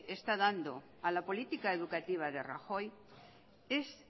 está dando a la política educativa de rajoy es